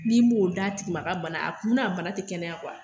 N'i m'o d'a tigi ma a ka bana na, a kun na a ka bana ti kɛnɛya